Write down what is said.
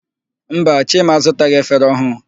Mba, Chima azụtaghị efere ọhụụ.